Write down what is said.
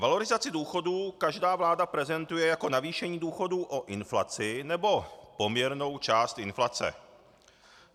Valorizaci důchodů každá vláda prezentuje jako navýšení důchodů o inflaci nebo poměrnou část inflace.